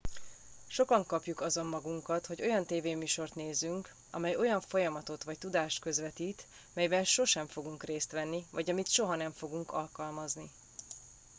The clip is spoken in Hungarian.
sokan kapjuk azon magunkat hogy olyan tévéműsort nézünk amely olyan folyamatot vagy tudást közvetít amelyben sosem fogunk részt venni vagy amit soha nem fogunk alkalmazni